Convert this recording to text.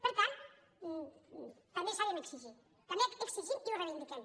per tant també sabem exigir també exigim i ho reivindiquem